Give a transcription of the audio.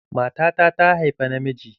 Matata ta haifa na miji.